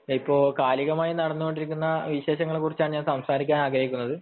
ഇപ്പോൾ കാലികമായി നടന്നുകൊണ്ടിരിക്കുന്ന വിശേഷങ്ങളെക്കുറിച്ചു സംസാരിക്കാനാണ് ഞാൻ ആഗ്രഹിക്കുന്നത്